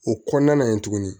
O kɔnɔna na yen tuguni